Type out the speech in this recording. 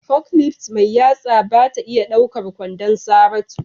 forklift mai yatsa ba ta iya ɗaukar kwandon Saratu.